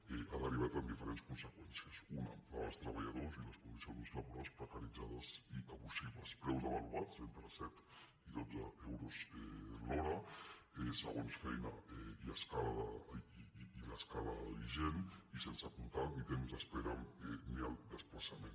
i ha derivat en diferents conseqüències una la dels treballadors i les condicions laborals precaritzades i abusives preus devaluats entre set i dotze euros l’hora segons feina i l’escala vigent i sense comptar ni temps d’espera ni el desplaçament